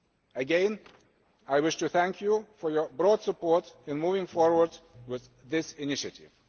FTT. Again, I wish to thank you for your broad support in moving forward with this initiative.